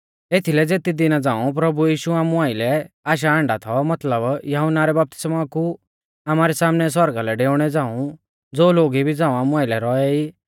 एथीलै ज़ेती दिना झ़ांऊ प्रभु यीशु आमु आइलै आशा आण्डा थौ मतलब यहुन्ना रै बपतिस्मौ कु आमारै सामनै सौरगा लै डेउणै झ़ांऊज़ो लोग इबी झ़ांऊ आमु आइलै रौऐ ई